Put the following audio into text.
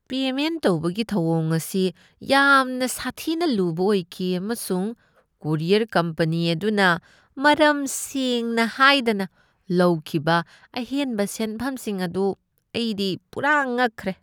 Payment ꯇꯧꯕꯒꯤ ꯊꯧꯋꯣꯡ ꯑꯁꯤ ꯌꯥꯝꯅ ꯁꯥꯊꯤꯅ ꯂꯨꯕ ꯑꯣꯏꯈꯤ, ꯑꯃꯁꯨꯡ ꯀꯨꯔꯤꯌꯔ ꯀꯝꯄꯅꯤ ꯑꯗꯨꯅ ꯃꯔꯝ ꯁꯦꯡꯅ ꯍꯥꯏꯗꯅ ꯂꯧꯈꯤꯕ ꯑꯍꯦꯟꯕ ꯁꯦꯟꯐꯝꯁꯤꯡ ꯑꯗꯨ ꯑꯩꯗꯤ ꯄꯨꯔꯥ ꯉꯛꯈ꯭ꯔꯦ ꯫